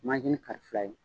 kari fila ye.